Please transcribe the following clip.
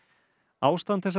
ástand þessara